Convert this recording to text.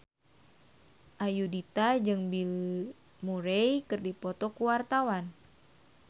Ayudhita jeung Bill Murray keur dipoto ku wartawan